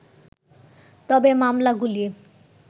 তবে মামলাগুলি